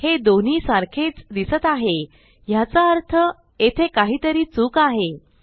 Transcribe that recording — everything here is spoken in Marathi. हे दोन्ही सारखेच दिसत आहे ह्याचा अर्थ येथे काहीतरी चूक आहे